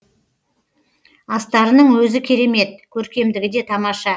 астарының өзі керемет көркемдігі де тамаша